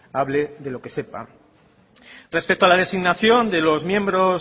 hable de lo que sepa respecto a la designación de los miembros